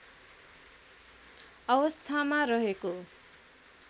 अवस्थामा रहेको